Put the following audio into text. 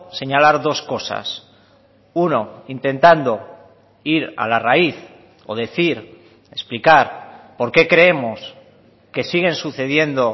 señalar dos cosas uno intentando ir a la raíz o decir explicar por qué creemos que siguen sucediendo